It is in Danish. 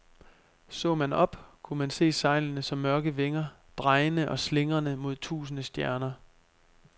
Så man op, kunne man se sejlene som mørke vinger, drejende og slingrende mod tusinde stjerner.